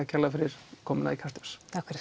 kærlega fyrir komuna í Kastljós takk fyrir